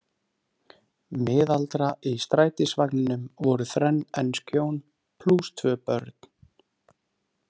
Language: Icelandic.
Miðaldra Í strætisvagninum voru þrenn ensk hjón, plús tvö börn.